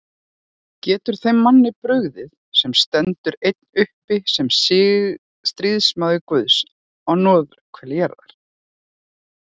Getur þeim manni brugðið, sem stendur einn uppi sem stríðsmaður Guðs á norðurhveli jarðar?